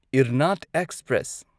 ꯢꯔꯅꯥꯗ express